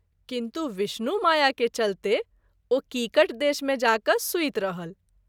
किन्तु विष्णु माया के चलते ओ कीकट देश मे जा क’ सुति रहल।